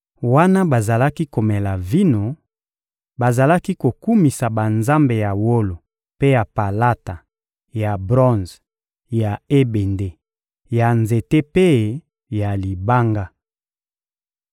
Wana bazalaki komela vino, bazalaki kokumisa banzambe ya wolo mpe ya palata, ya bronze, ya ebende, ya nzete mpe ya libanga.